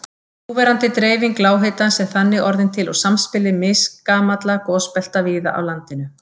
Núverandi dreifing lághitans er þannig orðin til úr samspili misgamalla gosbelta víða á landinu.